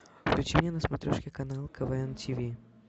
включи мне на смотрешке канал квн ти ви